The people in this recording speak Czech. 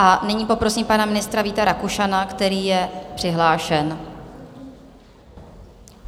A nyní poprosím pana ministra Víta Rakušana, který je přihlášen.